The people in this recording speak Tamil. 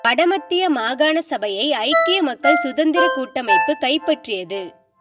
வட மத்திய மாகாண சபையை ஐக்கிய மக்கள் சுதந்திர கூட்டமைப்பு கைப்பற்றியது